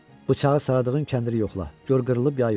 Bıçağı saldığın kəndiri yoxla, gör qırılıb ya yox.